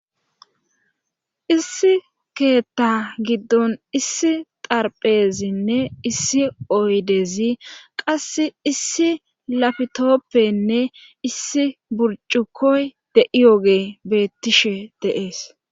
issi keeththa giddon issi xarpheezinne issi oydeezi qas issi lapitoppenne issi burcuqoy de7iyoge beettishe deees